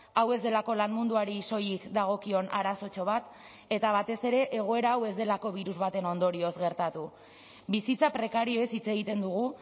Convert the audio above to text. hau ez delako lan munduari soilik dagokion arazotxo bat eta batez ere egoera hau ez delako birus baten ondorioz gertatu bizitza prekarioez hitz egiten dugu